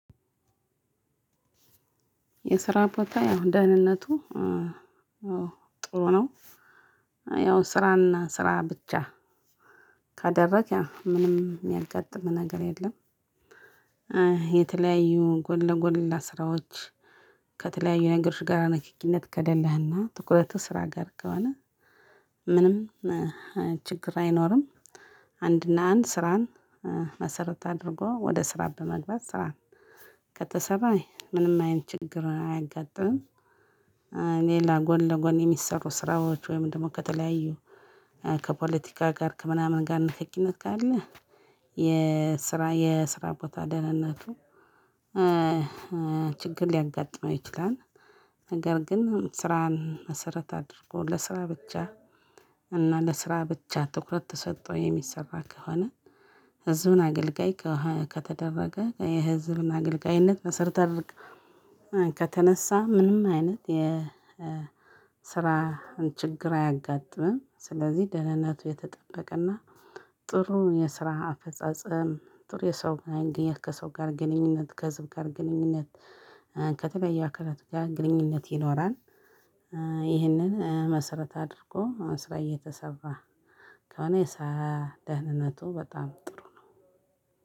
የስራ ቦታየ አሁን ደህንነቱ ጥሩ ነው። ያው ስራና ስራ ብቻ ካደርግክ ያው ምንም የሚያጋጥም ነገር የለም። የተለያዩ ጎን ለጎን ሌላ ስራዎች ከተለያዩ ነገሮች ጋር ንክኪነት ከሌለህና ትኩረትህ ስራ ጋር ከሆነ ምንም ችግር አይኖርም። አንድና አንድ ስራህን መሰረት አድርጎ ወደ ስራ በመግባት ስራ ከተሰራ ምንም አይነት ችግር አያጋጥምም። ሌላ ጎን ለጎን የሚሰሩ ስርዎች ወይም ደግሞ ከተለያዩ ከፖለቲካ ጋር ከምናምን ጋር ንክኪነት ካለ የስራ የስራ ቦታ ደህንነቱ ችግር ሊያጋጥመው ይችላል። ነገር ግን ስራን መሰረት አድርጎ ለስራ ብቻ እና ለስራ ብቻ ትኩረት ተሰጥቶ የሚሰራ ከሆነ ህዝብን አገልጋይ ከተደረገ የህዝብን አገልጋይነት መሰረት አድርግ ከተነሳህ ምንም አይነት የስራ ችግር አያጋጥምም። ስለዚህ ደህንነቱ የተጠበቀና ጥሩ የስራ አፈጻጸም ጥሩ የሰው ማግኘት ከሰው ጋር ግንኙነት ከህዝብ ጋር ግንኙነት ከተለያየ አካላት ግንኙነት ይኖራል። ይሄንን መሰረት አድርጎ ስራ እየተሰራ ከሆነ የስራ ደህንነቱ በጣም ጥሩ ነው።